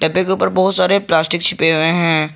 डब्बे के ऊपर बहुत सारे प्लास्टिक छिपे हुए हैं।